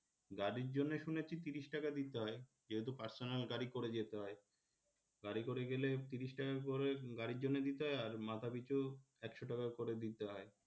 গাড়ির জন্যে শুনেছি ত্রিশ টাকা দিতে হয় যেহেতু personal গাড়ি করে যেতে হয়. গাড়ি করে গেলে ত্রিশ টাকা করে গাড়ির জন্যে দিতে হয় আর মাথাপিছু একশ টাকা করে দিতে হয়,